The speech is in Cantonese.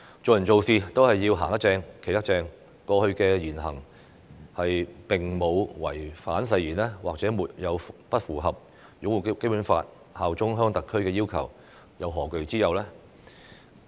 做人做事，只要"行得正、企得正"，過去的言行並無違反誓言，亦沒有不符合擁護《基本法》、效忠香港特區的要求，又何懼之有呢？